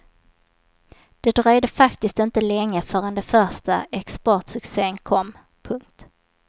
Det dröjde faktiskt inte länge förrän den första exportsuccen kom. punkt